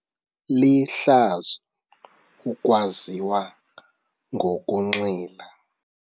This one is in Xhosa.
Lihlazo ukwaziwa ngokunxila.